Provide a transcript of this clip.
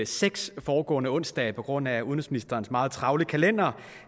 seks foregående onsdage på grund af udenrigsministerens meget travle kalender